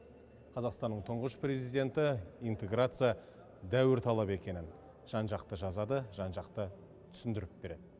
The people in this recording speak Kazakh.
қазақстанның тұңғыш президенті интеграция дәуір талабы екенін жан жақты жазады жан жақты түсіндіріп береді